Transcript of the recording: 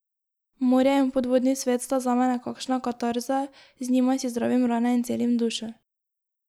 Morje in podvodni svet sta zame nekakšna katarza, z njima si zdravim rane in celim dušo.